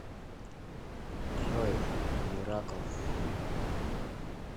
джой миракл